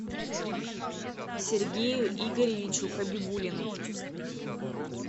сергею игоревичу хабибулину